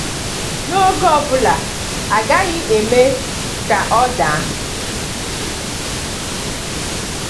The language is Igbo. “N’oge ọ bụla, a gaghị eme ka ọ daa.”